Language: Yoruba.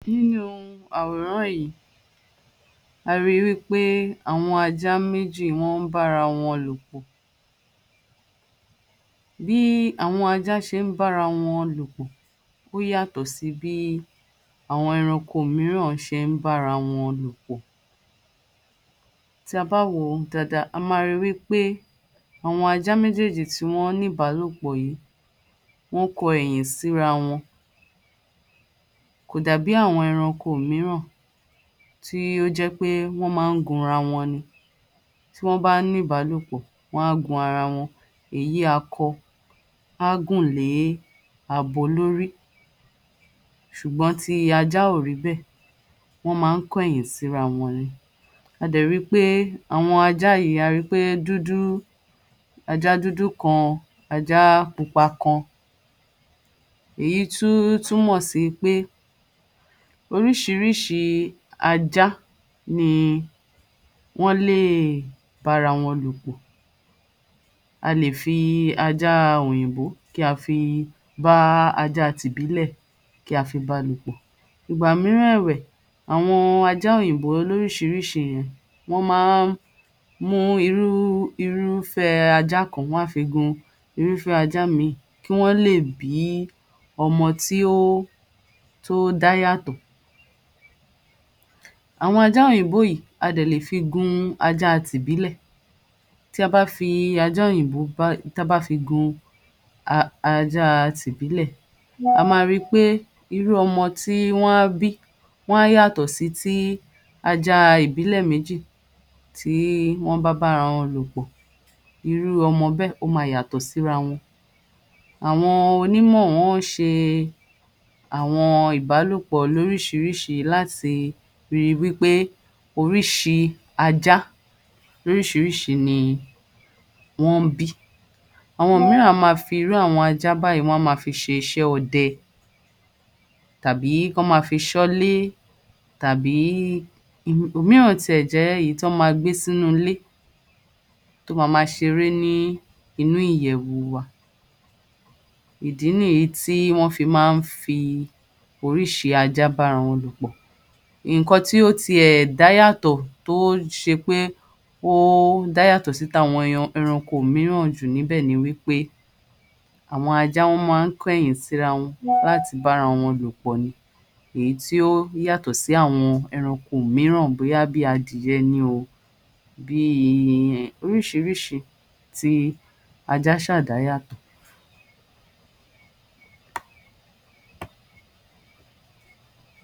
Nínú àwòrán yìí, a ríi wí pé àwọn ajá méjì wọ́n ń bá ara wọn lò pọ̀. Bí àwọn ajá ṣe ń bára wọn lò pọ̀ ó yàtọ̀ sí bí àwọn ẹranko mìíràn ṣe ń bára wọn lò pọ̀. Tá a bá wò ó dáadáa, a máa ríi wí pé àwọn ajá méjèèjì tí wọ́n níbàálòpọ̀ yìí, wọ́n kọ ẹ̀yìn síra wọn. Kò dàbí àwọn ẹranko mìíràn tí ó jẹ́ pé wọ́n máa ń gunra wọn ni. Tí wọ́n bá ní ìbálòpọ̀, wọ́n á gun ara wọn. Èyí akọ á gùn lé abo lórí, ṣùgbọ́n ti ajá ò rí bẹ́ẹ̀, wọ́n máa ń kọ ẹ̀yìn síra wọn ni. A dẹ̀ ríi pé àwọn ajá yìí, a ríi pé dúdú, ajá dúdú kan, ajá pupa kan, èyí tún túmọ̀ sí pé oríṣiríṣi ajá ni wọ́n lè bá ara wọn lò pọ̀. A lè fi ajá òyìnbó kí a fi bá ajá ti ìbílẹ̀ kí a fi báa lò pọ̀. Ìgbà mìíràn ẹ̀wẹ̀, àwọn ajá òyìnbó lóríṣiríṣi ẹ̀yà, wọ́n máa ń mú irú, irúfẹ́ ajá kan, wọ́n á fi gun irúfẹ́ ajá mìíì kí wọ́n lè bí ọmọ tí ó, tó dá yàtọ́. Àwọn ajá òyìbó yìí, a dẹ̀ lè fi gun ajá tìbílẹ̀. Tí a bá fi ajá òyìnbó bá, táa bá fi gun ajá ti ìbílẹ̀, a máa ríi pé irú ọmọ tí wọ́n á bí, wọ́n á yàtọ̀ sí tí ajá ìbílẹ̀ méjì, tí wọ́n bá bá ara lò pọ̀. Irú ọmọ bẹ́ẹ̀, ó máa yàtọ̀ síra wọn. Àwọn onímọ̀ wọ́n ṣe àwọn ìbálòpọ̀ lóríṣiríṣi láti ríi wí pé oríṣi ajá, oríṣiríṣi ni wọ́n ń bí. Àwọn mìíràn a máa fi irú àwọn ajá báyìí, wọ́n á máa fi ṣe iṣẹ́ ọdẹ, tàbí kán máa fi ṣọ́lé, tàbí, òmìíràn tiẹ̀ jẹ́ èyí tán máa gbé sínú ilé, tó máa máa ṣeré nínú ìyẹ̀wù wa. Ìdí nìyí tí wọ́n fi máa ń fi oríṣi ajá bá ara wọn lò pọ̀. Nǹkan tó tiẹ̀ dá yàtọ̀, tó ṣe pé ó dá yàtọ̀ sí tàwọn èèyan, ọranko mìíràn jù níbẹ̀ ni wí pé àwọn ajá, wọ́n máa ń kọ ẹ̀yìn sí ara wọn láti bá ara wọn lò pọ̀ ni, èyí tí ó yàtọ̀ sí àwọn ẹranko mìíràn bóyá bí adìyẹ ni o, bíi, oríṣiríṣi. Ti ajá ṣáà dá yàtọ̀.